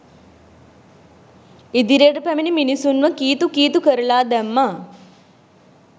ඉදිරියට පැමිණි මිනිසුන්ව කීතු කීතු කරලා දැම්මා